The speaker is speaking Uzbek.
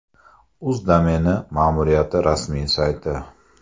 Uz domeni ma’muriyati rasmiy sayti.